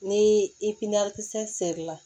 Ni i sɛrila